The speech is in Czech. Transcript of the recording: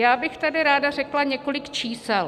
Já bych tady ráda řekla několik čísel.